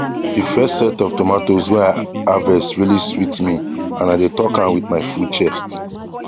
the first set of tomatoes wae i harvest really sweet me and i dae talk am with my full chest